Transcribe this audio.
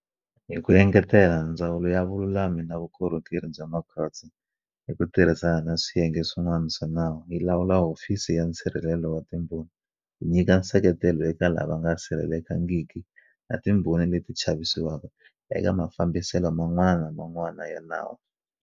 Hi ku engetela, Ndzawulo ya Vululami na Vukorhokeri bya Makhotso, hi ku tirhi sana na swiyenge swin'wana swa nawu, yi lawula Hofisi ya Nsirhelelo wa Timbhoni ku nyika nseketelo eka lava nga sirhelelekangiki na timbhoni leti chavisiwaka eka mafambiselo man'wana na man'wana ya nawu.